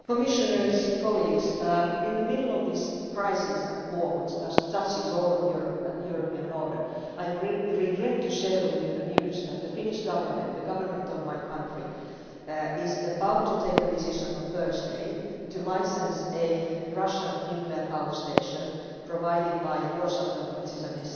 Mr President, honourable Members, in the middle of this crisis and war which touches all of Europe and the European order, I regret to share with you the news that the Finnish Government the government of my country is about to take a decision on Thursday to license a Russian nuclear power station provided by Rosatom, which is an